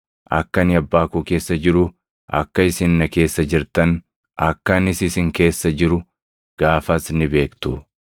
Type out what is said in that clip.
Akka ani Abbaa koo keessa jiru, akka isin na keessa jirtan akka anis isin keessa jiru gaafas ni beektu.